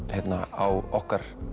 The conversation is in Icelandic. á okkar